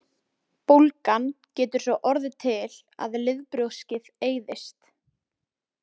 Bólgan getur svo orðið til að liðbrjóskið eyðist.